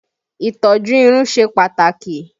Ìtọ́jú irun ṣe pàtàkì